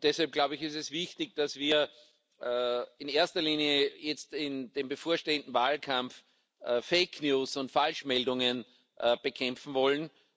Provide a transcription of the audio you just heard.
Und deshalb ist es wichtig, dass wir in erster Linie jetzt in dem bevorstehenden Wahlkampf Fake News und Falschmeldungen bekämpfen wollen.